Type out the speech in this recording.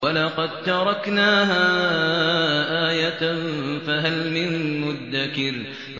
وَلَقَد تَّرَكْنَاهَا آيَةً فَهَلْ مِن مُّدَّكِرٍ